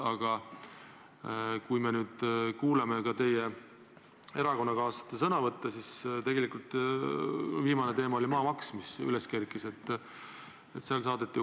Aga täna me kuuleme ka teie erakonnakaaslase vastuseid ja viimane teema, mis üles kerkis, on maamaks.